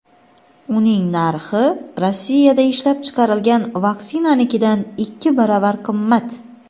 uning narxi Rossiyada ishlab chiqarilgan vaksinanikidan ikki baravar qimmat.